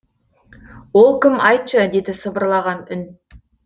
ол кім айтшы деді сыбырлаған үн